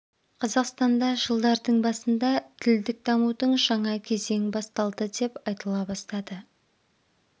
қазақстанда жылдардың басында тілдік дамудың жаңа кезең басталды деп айтыла бастады